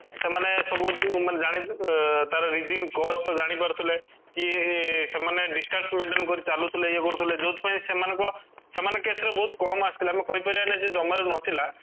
ସେମାନେ ସବୁ ମାନେ ଜାଣି ଅଂ ତାର reason cost ଜାଣିପାରୁଥିଲେ କି ଏଁ ସେମାନେ distance maintain କରି ଚାଲୁଥିଲେ ଇୟେ କରୁଥିଲେ ଯୋଉଠି ପାଇଁ ସେମାନଙ୍କ ସେମାନେ case ରେ ବହୁତ କାମ ଆସିଥିଲା ଏମିତି କହିପାରିବାନି ଯେ ଜମାରୁ ନଥିଲା